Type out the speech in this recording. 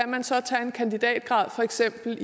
sikkert